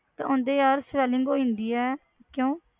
ਤੇ ਉਹਨਾਂ ਦੇ ਯਾਰ swelling ਹੋ ਜਾਂਦੀ ਹੈ, ਕਿਉਂ?